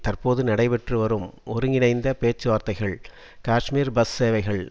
தற்போது நடைபெற்று வரும் ஒருங்கிணைந்த பேச்சுவார்த்தைகள் காஷ்மீர் பஸ் சேவைகள்